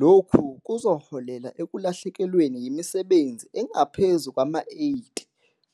Lokhu kuzoholela ekulahlekelweni yimisebenzi engaphezu kwama-80